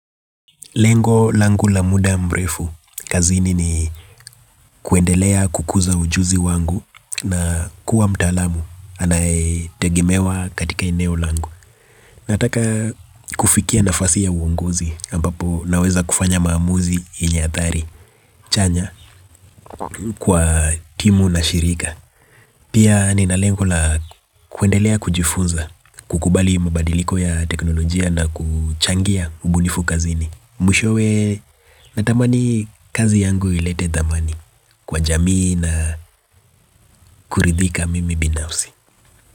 Lengo langu la muda mrefu, kazini ni kuendelea kukuza ujuzi wangu na kuwa mtalamu, anayetegemewa katika eneo langu. Nataka kufikia nafasi ya uongozi, ambapo naweza kufanya maamuzi yenye athari, chanya, kwa timu na shirika. Pia nina lengo la kuendelea kujifunza, kukubali mabadiliko ya teknolojia na kuchangia ubunifu kazini. Mwishowe natamani kazi yangu ilete thamani kwa jamii na kuridhika mimi binafsi.